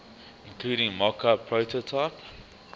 including mockup prototype